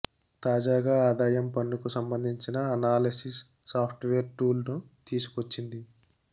తాజాగా ఆదాయం పన్నుకు సంబంధించిన అనాలసిస్ సాఫ్ట్వేర్ టూల్ ను తీసుకొచ్చింది